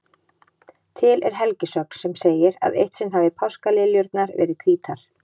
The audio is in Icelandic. Til er helgisögn sem segir að eitt sinn hafi páskaliljurnar verið hvítar.